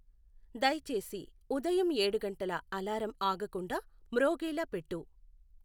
దయచేసి ఉదయం ఏడు గంటల అలారం ఆగకుండా మ్రోగేలా పెట్టు.